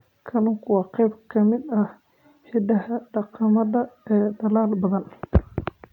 Kalluunku waa qayb ka mid ah hiddaha dhaqameed ee dalal badan.